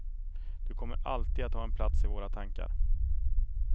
Du kommer alltid att ha en plats i våra tankar.